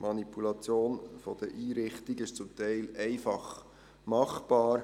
Die Manipulation der Einrichtungen ist zum Teil einfach machbar.